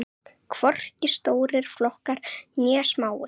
Hvorki stórir flokkar né smáir.